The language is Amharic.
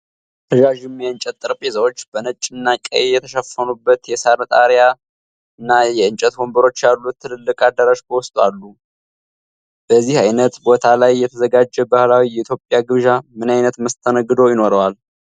ረዣዥም የእንጨት ጠረጴዛዎች በነጭና ቀይ የተሸፈኑበት፣ የሳር ጣሪያና የእንጨት ወንበሮች ያሉት ትልቅ አዳራሽ በውስጡ አለ። በዚህ ዓይነት ቦታ ላይ የተዘጋጀ ባህላዊ የኢትዮጵያ ግብዣ ምን ዓይነት መስተንግዶ ይኖረዋል?